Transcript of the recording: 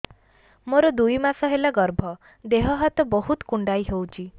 ମୋର ଦୁଇ ମାସ ହେଲା ଗର୍ଭ ଦେହ ହାତ ବହୁତ କୁଣ୍ଡାଇ ହଉଚି